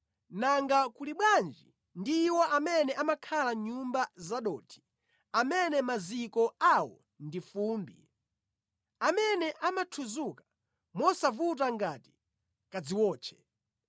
nanga kuli bwanji ndi iwo amene amakhala mʼnyumba zadothi, amene maziko awo ndi fumbi, amene amathudzuka mosavuta ngati kadziwotche!